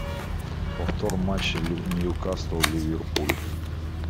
повтор матча нью касл ливерпуль